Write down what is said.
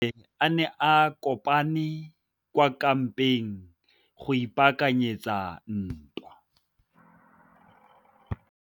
Masole a ne a kopane kwa kampeng go ipaakanyetsa ntwa.